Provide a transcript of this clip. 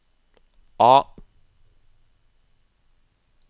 A